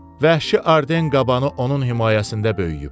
Vəhşi arden qabanı onun himayəsində böyüyüb.